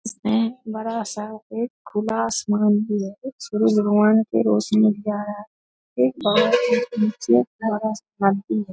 इसमे बड़ा-सा एक खुला आसमान भी है सूर्य भगवान के रोशनी भी आ रहा --